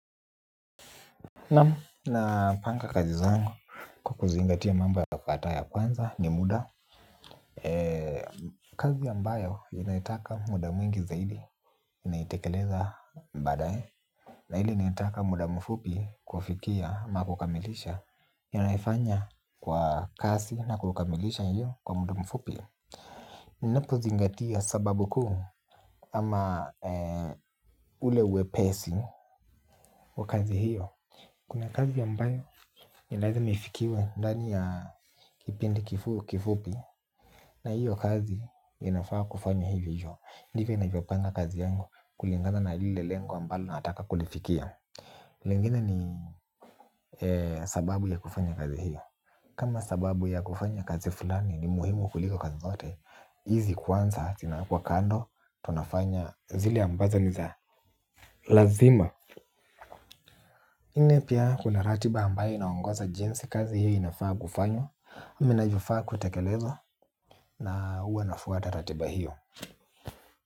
Nam napanga kazi zangu kwa kuzingatia mambo ya kukata ya kwanza ni muda. Kazi ambayo inaitaka muda mwingi zaidi naitekeleza badae. Na ile inaitaka muda mfupi kufikia na kukamilisha ninaifanya kwa kasi na kukamilisha hiyo kwa muda mfupi. Ninapo zingatia sababu kuu ama ule wepesi wa kazi hiyo kuna kazi ambayo ni lazima ifikiwe ndani ya kipindi kifu kifupi. Na hiyo kazi inafaa kufanya hivyo. Ndivyo nivopanga kazi yangu kulingana na lile lengo ambalo nataka kulifikia. Lengine ni sababu ya kufanya kazi hiyo. Kama sababu ya kufanya kazi fulani ni muhimu kuliko kazi zote hizi kwanza zinawekwa kando tunafanya zile ambazo ni za lazima. Nne pia kuna ratiba ambayo inaongoza jinsi kazi hiyo inafaa kufanywa. Ninachofaa kutekeleza na huwa nafuata ratiba hiyo.